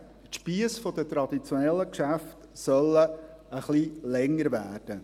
die Spiesse der traditionellen Geschäfte sollen ein wenig länger werden.